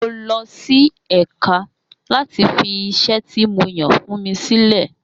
Mo lọ sí ẹ̀ka láti fi iṣẹ́ tí mo yàn fún mi sílẹ̀.